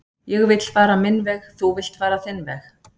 ég vill fara minn veg þú villt fara þinn veg